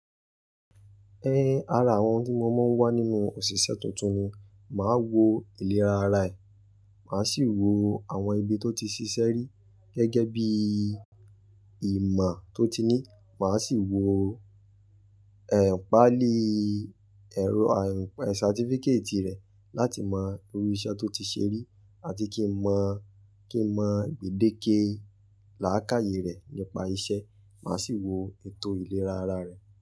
Ẹn, ara àwọn tí mo máa ń wá nínú òṣìṣẹ́ tuntun ni, màá wo ìlera ara ẹ, màá sì wo àwọn ibi tó ti ṣiṣẹ́ rí gẹ́gẹ́ bí i ìmà tó ti ní. Màá sì wo ẹ̀ ìpáàlí ẹ̀rọ àyìnpẹ̀ certificate rẹ̀ láti mọ irú iṣẹ́ tó ti ṣẹrí àti kí n mọ, kí n mọ gbèdéke làákàyè rẹ̀ nípa isẹ́. Màá sì wo ètò ìlera ara rẹ̀